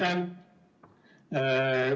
Aitäh!